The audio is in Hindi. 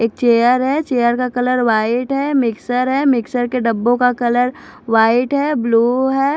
एक चेयर है चेयर का कलर व्हाइट है मिक्सर है मिक्सर के डब्बों का कलर व्हाइट है ब्लू है।